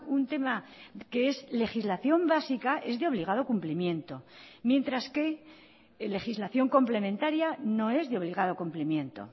un tema que es legislación básica es de obligado cumplimiento mientras que legislación complementaria no es de obligado cumplimiento